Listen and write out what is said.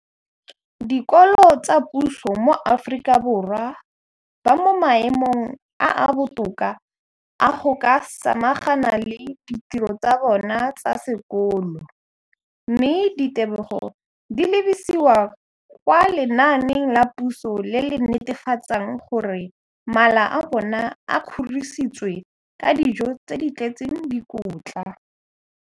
dikolo tsa puso mo Aforika Borwa ba mo maemong a a botoka a go ka samagana le ditiro tsa bona tsa sekolo, mme ditebogo di lebisiwa kwa lenaaneng la puso le le netefatsang gore mala a bona a kgorisitswe ka dijo tse di tletseng dikotla.